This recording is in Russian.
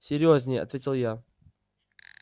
серьёзнее ответил я